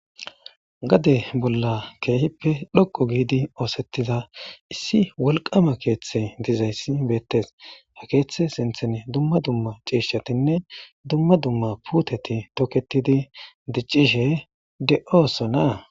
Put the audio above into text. Gade bolla keehippe dhoqo giidi oosettida issi wolqama keeththe dizayssi beettes. Ha keeththe sinthene dumma dumma ciishshatinne dumma dumma puuteti toketidi diccishe de'oosona.